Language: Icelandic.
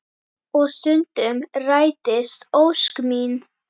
Og stundum rætist ósk mín.